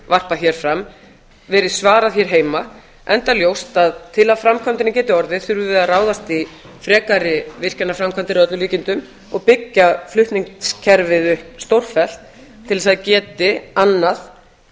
varpað hér fram verið svarað hér heima enda ljóst að til að af framkvæmdinni geti orðið þurfum við að ráðast í frekari virkjanaframkvæmdir að öllum líkindum og byggja flutningskerfið upp stórfellt til að það geti annað